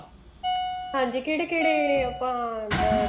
ਹਾਂਜੀ ਕਿਹੜੇ ਕਿਹੜੇ ਆਪਾਂ